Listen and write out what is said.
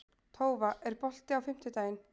Tófa, er bolti á fimmtudaginn?